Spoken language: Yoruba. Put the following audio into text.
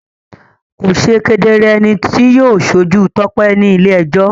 Kò ṣe kedere ẹni tí yóò ṣojú Tope ní ilé-ẹjọ́.